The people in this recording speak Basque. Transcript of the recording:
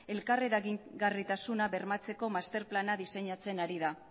elkar eragingarritasuna bermatzeko masterplana diseinatzen ari da